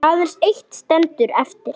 Aðeins eitt stendur eftir.